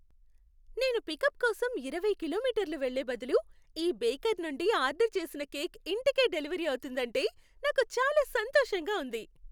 నేను పికప్ కోసం ఇరవై కిలోమీటర్లు వెళ్ళే బదులు ఈ బేకర్ నుండి ఆర్డర్ చేసిన కేక్ ఇంటికే డెలివరీ అవుతుందంటే నాకు చాలా సంతోషంగా ఉంది.